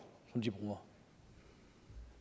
som de bruger